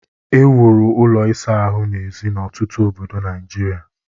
e wuru ụlọ ịsa ahụ n'èzí n'ọtụtụ obodo Nigeria